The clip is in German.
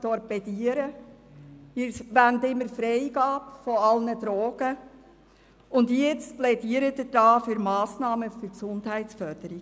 Sie wollen immer die Freigabe aller Drogen, und jetzt plädieren Sie für Massnahmen zur Gesundheitsförderung.